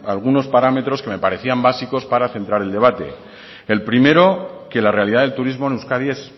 algunos parámetros que me parecían básicos para centrar el debate el primero que la realidad del turismo en euskadi es